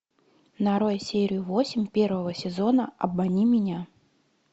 нарой серию восемь первого сезона обмани меня